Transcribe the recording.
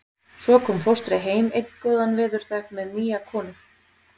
En svo kom fóstri heim einn góðan veðurdag með nýja konu.